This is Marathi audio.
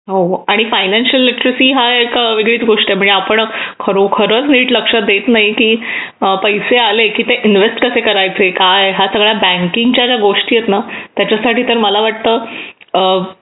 हो आणि फायनान्शियल लिटरसी हा एक वेगळीच गोष्ट आहे म्हणजे आपण खरोखरच नीट लक्ष देत नाही की पैसे आले किती नीट इन्वेस्ट कसे करायचे काय हा सगळ्यांच्या बँकिंग च्या गोष्टी आहेत त्याच्यासाठी तर मला वाटतं अ...